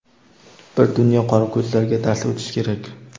Bir dunyo qorako‘zlarga dars o‘tish kerak.